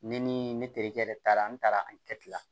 Ne ni ne terikɛ yɛrɛ taara n taara a kɛ la